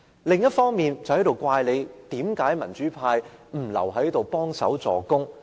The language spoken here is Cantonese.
另一方面，建制派又責怪民主派為何不留下來協助死守。